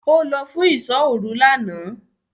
Ó lọ fún “ìsọ́-òru” lánàá.